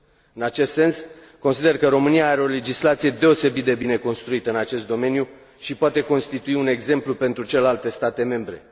În acest sens, consider că România are o legislație deosebit de bine construită în acest domeniu și poate constitui un exemplu pentru celelalte state membre.